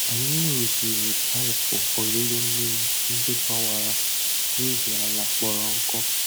Anyị rụziri paịp olulu mmiri ndị gbawara n’ihi ala kpọrọ nkụ.